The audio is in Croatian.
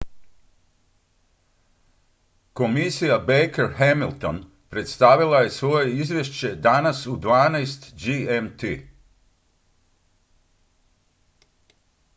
komisija baker-hamilton predstavila je svoje izvješće danas u 12.00 gmt